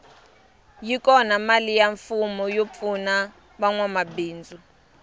yi kona mali ya mfumo yo pfuna vanwa mabindzu